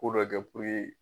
Ko dɔ kɛ ko ye